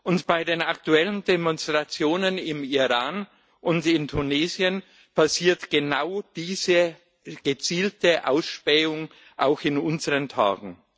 Und bei den aktuellen Demonstrationen im Iran und in Tunesien passiert genau diese gezielte Ausspähung auch in unseren Tagen.